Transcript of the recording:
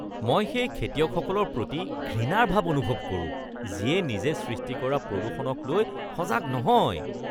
মই সেই খেতিয়কসকলৰ প্ৰতি ঘৃণাৰ ভাৱ অনুভৱ কৰোঁ যিয়ে নিজে সৃষ্টি কৰা প্ৰদূষণকলৈ সজাগ নহয়।